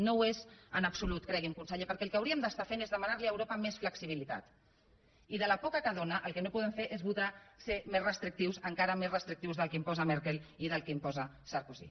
no ho és en absolut cregui’m conseller perquè el que hauríem d’estar fent és demanar li a europa més flexibilitat i de la poca que dóna el que no podem fer és votar ser més restrictius encara més restrictius del que imposa merkel i del que imposa sarkozy